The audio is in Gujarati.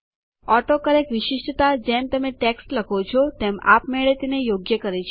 ઓટોકરેક્ટ વિશિષ્ટતા જેમ તમે ટેક્સ્ટ લખો છો તેમ આપમેળે તેને યોગ્ય કરે છે